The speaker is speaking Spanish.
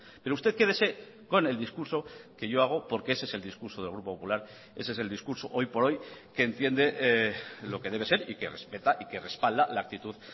pero usted quédese con el discurso que yo hago porque ese es el discurso del grupo popular ese es el discurso hoy por hoy que entiende lo que debe ser y que respeta y que respalda la actitud